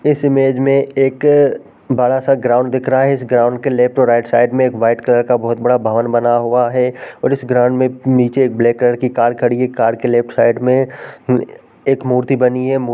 इस इमेज में एक बड़ा सा ग्राउन्ड दिख रहा है। इस ग्राउन्ड के लेफ्ट और राइट साइड में एक व्हाइट कलर का बहोत बड़ा भवन बना हुआ है और इस ग्राउंड में नीचे ब्लैक कलर की कार खड़ी है। कार के लेफ्ट साइड में ए एक मूर्ति बनी है। मू --